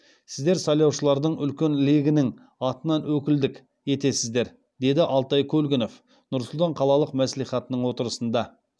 сіздер сайлаушылардың үлкен легінің атынан өкілдік етесіздер деді алтай көлгінов нұр сұлтан қалалық мәслихатының отырысында